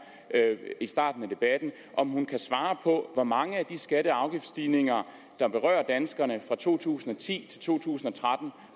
i starten af debatten om hun kan svare på hvor mange af de skatte og afgiftsstigninger der berører danskerne fra to tusind og ti til to tusind